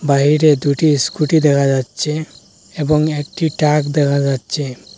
বাইরে দুটি স্কুটি দেখা যাচ্ছে এবং একটি ট্রাক দেখা যাচ্ছে।